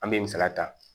An bɛ misaliya ta